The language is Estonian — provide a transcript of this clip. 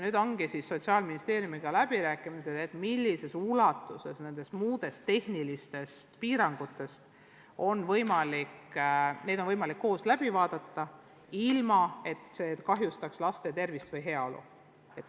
Nüüd käivadki Sotsiaalministeeriumiga läbirääkimised, millises ulatuses on võimalik osast tehnilistest piirangutest, ilma et see kahjustaks laste tervist või heaolu.